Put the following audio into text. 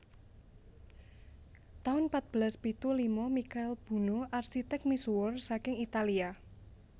taun patbelas pitu lima Mikail Buno arsitek misuwur saking Italia